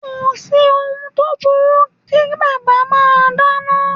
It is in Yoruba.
Kò sí ohun tó burú kí bàbá máa dáná.